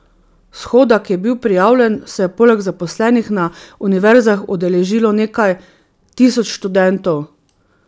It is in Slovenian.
Shoda, ki je bil prijavljen, se je poleg zaposlenih na univerzah udeležilo nekaj tisoč študentov.